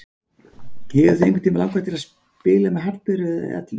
Hefur þig einhvern tímann langað til að spila með Hallberu eða Eddu?